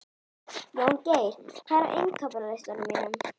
Jóngeir, hvað er á innkaupalistanum mínum?